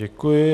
Děkuji.